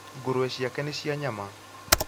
Ngũrwe ciake nĩ cia nyama